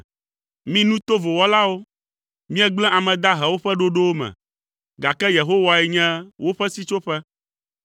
Mi nu tovo wɔlawo, miegblẽ ame dahewo ƒe ɖoɖowo me, gake Yehowae nye woƒe sitsoƒe.